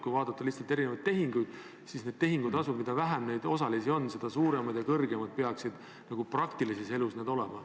Kui vaadata erisuguseid tehinguid, siis tehingutasudega on nii, et mida vähem osalisi on, seda suuremad peaksid need tasud praktilises elus olema.